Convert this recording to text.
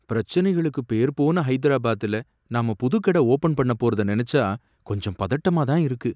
பிரச்சனைகளுக்கு பேர் போன ஹைதராபாத்ல நாம புது கடை ஓபன் பண்ணப் போறத நனைச்சா கொஞ்சம் பதட்டமா தான் இருக்கு.